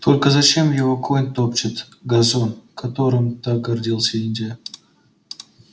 только зачем его конь топчет газон которым так гордился индия